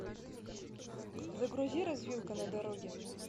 загрузи развилка на дороге